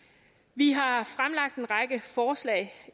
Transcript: vi har fremlagt en række forslag